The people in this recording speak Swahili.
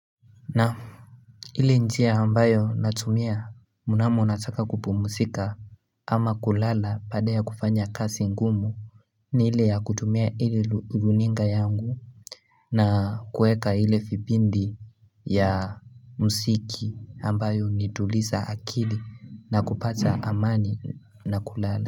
Nam ile njia ambayo natumia Munamo nataka kupumusika ama kulala baada ya kufanya kasi ngumu ni ile ya kutumia ili luninga yangu na kueka ile vipindi ya msiki ambayo unituliza akili na kupata amani na kulala.